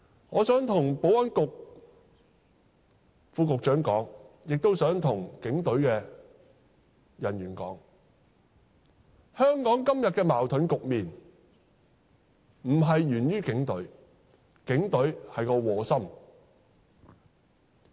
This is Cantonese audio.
我想向保安局副局長說，亦想向警隊的人員說，香港今天的矛盾局面並非源於警隊，警隊只是磨心。